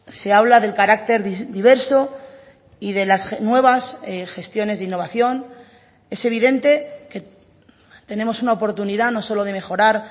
se habla del carácter diverso y de las nuevas gestiones de innovación es evidente que tenemos una oportunidad no solo de mejorar